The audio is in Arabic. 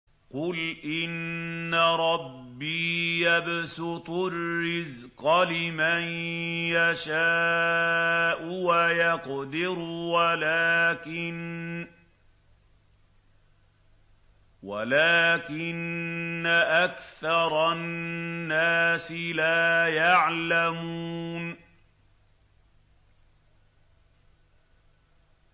قُلْ إِنَّ رَبِّي يَبْسُطُ الرِّزْقَ لِمَن يَشَاءُ وَيَقْدِرُ وَلَٰكِنَّ أَكْثَرَ النَّاسِ لَا يَعْلَمُونَ